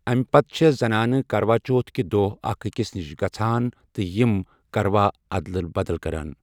امہِ پتہٕ چھےٚ زنانہٕ کروا چوتھ کہِ دۄہ اَکھ أکِس نِش گژھان تہٕ یِم کروا اَدلہٕ بَدل كران ۔